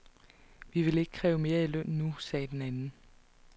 Vi vil ikke kræve mere i løn nu, sagde den anden.